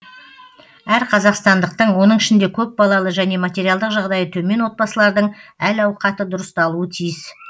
әр қазақстандықтың оның ішінде көпбалалы және материалдық жағдайы төмен отбасылардың әл ауқаты дұрысталуы тиіс